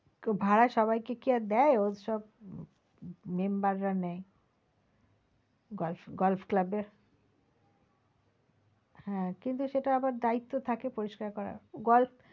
কেউ ভাড়া সবাই কে কি আর দেয় ওর সব member রা নেয় golf~golf club এর হ্যাঁ সেটা আবার দায়িত্ব থাকে পরিস্কার করার glof